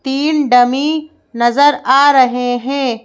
तीन डमी नजर आ रहे हैं।